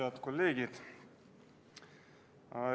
Head kolleegid!